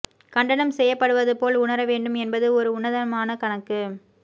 கண்டனம் செய்யப்படுவது போல் உணர வேண்டும் என்பது ஒரு உன்னதமான கணக்கு